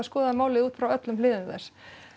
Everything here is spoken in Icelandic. skoða málið út frá öllum hliðum þess